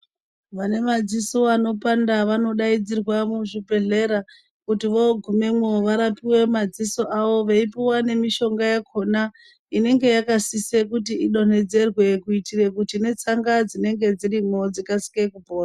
Vane madziso anopanda vanodaidzirwa muzvibhedhlera kuti vogumemwo varapiwe madziso avo veipuwa nemishonga yakhona inenge yakasisa kuti idonhedzerwe kuitira kuti netsanga dzinenge dzirimo dzikasire kupora.